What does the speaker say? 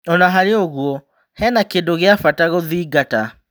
Ona-harĩoũguo hena kĩndũ gĩa-bata gũthingata.